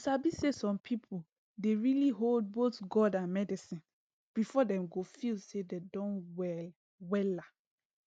you sabi say some people dey really hold both god and medicine before dem go feel say dem don well wella